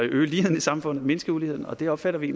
øge ligheden i samfundet mindske uligheden og det opfatter vi